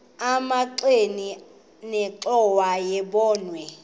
emagxeni nenxhowa yebokhwe